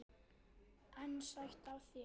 En sætt af þér!